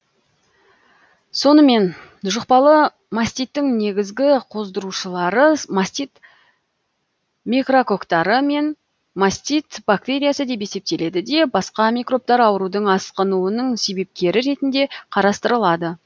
сонымен жұқпалы маститтің негізгі қоздырушылары мастит микрококтары мен мастит бактериясы деп есептеледі де басқа микробтар аурудың асқынуының себепкері ретінде қарастырылады